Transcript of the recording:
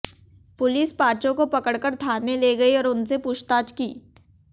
police पांचों को पकड़कर थाने ले गई और उनसे पूछताछ की